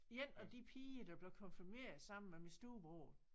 En af de piger der blev konfirmeret sammen med min storebror